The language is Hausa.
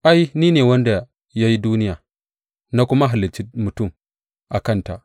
Ai, ni ne wanda ya yi duniya na kuma halicci mutum a kanta.